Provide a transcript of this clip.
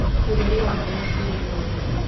Ũtheru wa maaĩ na tĩĩri nĩ wa bata